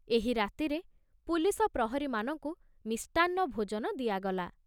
ଏହି ରାତିରେ ପୁଲିସ ପ୍ରହରୀମାନଙ୍କୁ ମିଷ୍ଟାନ୍ନ ଭୋଜନ ଦିଆଗଲା।